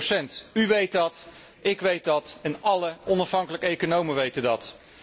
120. U weet dat, ik weet dat en alle onafhankelijke economen weten dat.